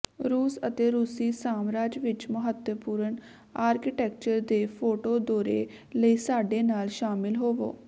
ਰੂਸ ਅਤੇ ਰੂਸੀ ਸਾਮਰਾਜ ਵਿਚ ਮਹੱਤਵਪੂਰਣ ਆਰਕੀਟੈਕਚਰ ਦੇ ਫੋਟੋ ਦੌਰੇ ਲਈ ਸਾਡੇ ਨਾਲ ਸ਼ਾਮਲ ਹੋਵੋ